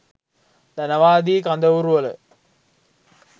ධනවාදී කඳවුරු වල